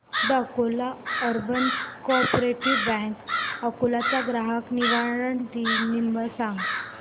the Akola urban cooperative bank Akola चा ग्राहक निवारण नंबर सांग